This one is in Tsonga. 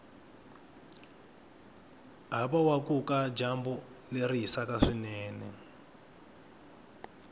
havawakuka dyambu leri hisaku swinene